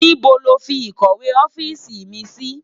Nibó ló fi ikòwé òfisi mi si?